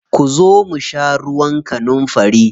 Ku zo ku sha ruwan kanunfari.